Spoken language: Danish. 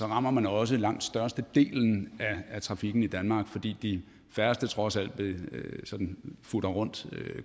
rammer man også langt størstedelen af trafikken i danmark fordi de færreste trods alt sådan futter rundt